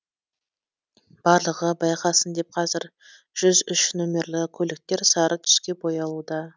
барлығы байқасын деп қазір жүз үш нөмірлі көліктер сары түске боялуда